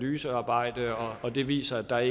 analysearbejde og at det viser at der